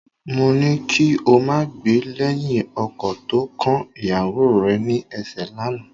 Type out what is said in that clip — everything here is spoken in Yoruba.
Mo ní kí o máa gbè lẹ́yìn ọkọ tó ń kan ìyàwó rẹ ní ẹ̀ṣẹ́ lánàá